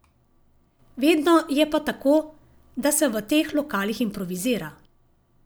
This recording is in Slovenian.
Vedno je pa tako, da se v teh lokalih improvizira.